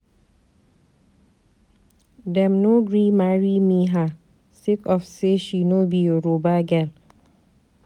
Dem no gree me marry her sake of say she no be yoruba girl.